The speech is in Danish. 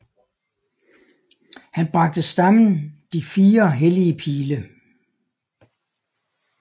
Han bragte stammen de fire hellige pile